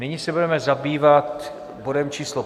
Nyní se budeme zabývat bodem číslo